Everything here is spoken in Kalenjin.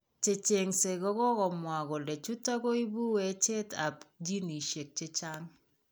Checheng'se kokokomwaa kole chuton koibu wecheet ab genisiek chechang'